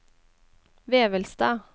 Vevelstad